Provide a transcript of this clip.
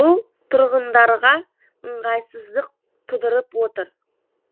бұл тұрғындарға ыңғайсыздық тудырып отыр